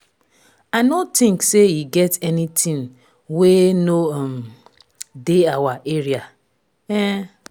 i no think say e get anything wey no um dey our area um